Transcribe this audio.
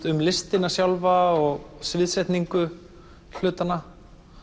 um listina sjálfa og sviðsetningu hlutanna